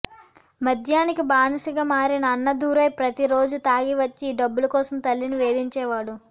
మద్యానికి బానిసగా మారిన అన్నాదురై ప్రతి రోజూ తాగి వచ్చి ఈ డబ్బుల కోసం తల్లిని వేధించేవాడు